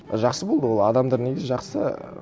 жақсы болды ол адамдар негізі жақсы